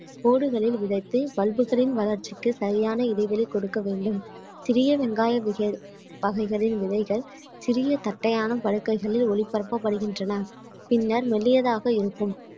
கோடுகளில் விதைத்து pulp களின் வளர்ச்சிக்கு சரியான இடைவெளி கொடுக்க வேண்டும் சிறிய வெங்காய விகை~ வகைகளின் விதைகள் சிறிய தட்டையான படுக்கைகளில் ஒளிபரப்பப்படுகின்றன பின்னர் மெல்லியதாக இருக்கும்